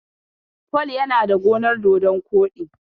Paul ya na da gonar dodon koɗi.